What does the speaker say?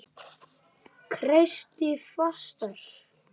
Kreisti fastar.